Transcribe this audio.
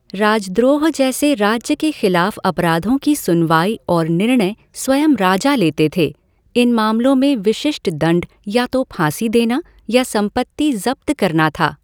राजद्रोह जैसे राज्य के खिलाफ अपराधों की सुनवाई और निर्णय स्वयं राजा लेते थे, इन मामलों में विशिष्ट दंड या तो फांसी देना या संपत्ति ज़ब्त करना था।